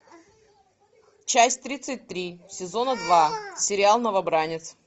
часть тридцать три сезона два сериал новобранец